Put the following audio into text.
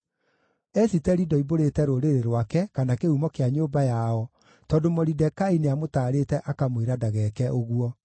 Esiteri ndoimbũrĩte rũrĩrĩ rwake kana kĩhumo kĩa nyũmba yao, tondũ Moridekai nĩamũtaarĩte akamwĩra ndageke ũguo.